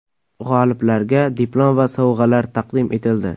G‘oliblarga diplom va sovg‘alar taqdim etildi.